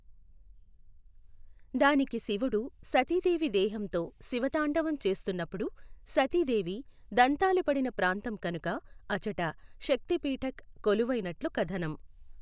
దానికి శివుడు సతీదేవి దేహంతో శివతాండవం చేస్తున్నప్పుడు సతీదేవి దంతాలు పడిన ప్రాంతం కనుక అచట శక్తి పీఠఖ్ కొలువైనట్లు కథనం.